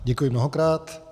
Děkuji mnohokrát.